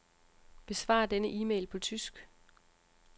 Besvar denne e-mail på tysk.